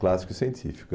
Clássico e científico.